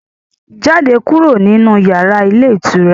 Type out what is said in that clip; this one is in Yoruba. Jáde kúrò nínu yàrá ilé ìtura